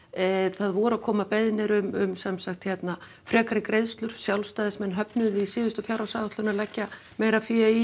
það voru að koma beiðnir um sem sagt hérna frekari greiðslur Sjálfstæðismenn höfnuðu því í síðustu fjárhagsáætlun að leggja meira fé í